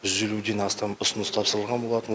жүз елуден астам ұсыныс тапсырылған болатын